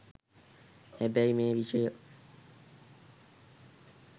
හැබැයි මේ විෂය